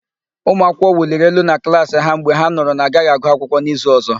Ụmụakwụkwọ wuliri elu na klaasị ha mgbe ha nụrụ na-agaghị agụ akwụkwọ n'izu ọ̀zọ́.